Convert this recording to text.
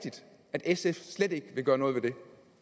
sf slet ikke gøre noget ved